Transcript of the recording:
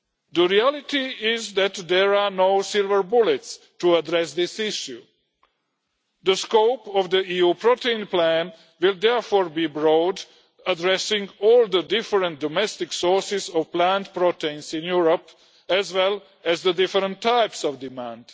The reality is that there are no silver bullets to address this issue. The scope of the EU protein plan will therefore be broad, addressing all the different domestic sources of plant proteins in Europe, as well as the different types of demand.